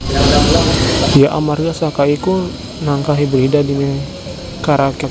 Ya amarga saka iku nangka hibrida dimekaraké